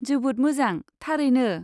जोबोद मोजां, थारैनो।